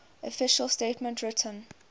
official statement written